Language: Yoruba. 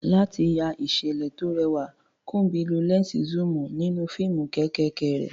Láti ya ìṣẹ̀lẹ̀ tó rẹwà, Kunbi lo lẹ́ńsì zoom nínú fíìmù kéékèèké rẹ̀.